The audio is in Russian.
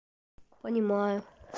понимаю